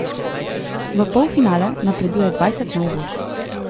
V polfinale napreduje dvajset najboljših.